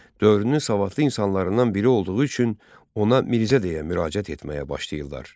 Dövrünün savadlı insanlarından biri olduğu üçün ona Mirzə deyə müraciət etməyə başladılar.